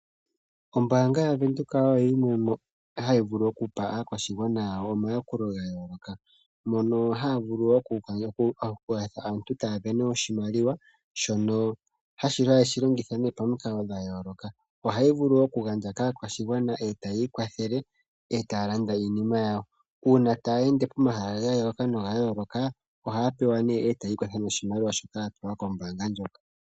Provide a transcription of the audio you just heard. Ombanga yaVenduka oyo yimwe yomoombanga ndjoka hadhi vulu okupa aayakulwa yawo omayakulo gayooloka, mono aantu haakala taasindana oshimaliwa shono haye keshi longitha pamikalo dha yooloka. Ombanga ndjika ohayi vulu woo okugandja kaakwashigwana etayiikwathele nokulanda iinima yawo, uuna tayeende pomahala gayooloka nogayoka ohaapewa oshimaliwa yiikwathe nasho.